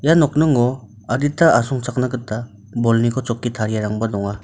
ia nokningo adita asongchakna gita bolniko chokki tariarangba donga.